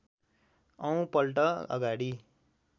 औं पल्ट अगाडि